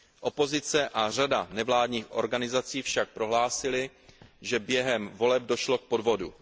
Opozice a řada nevládních organizací však prohlásily, že během voleb došlo k podvodu.